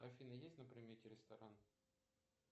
афина есть на примете ресторан